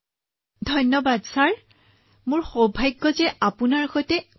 আপোনাৰ দৰে স্বাস্থ্য কৰ্মীৰ কঠোৰ পৰিশ্ৰমৰ বাবেই ভাৰতত ১০০ কোটি প্ৰতিষেধকৰ পালিৰ সীমা অতিক্ৰম কৰিছে